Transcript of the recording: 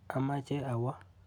Amache awo.